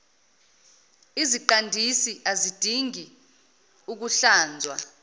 iziqandisi azidingi ukuhlanzwa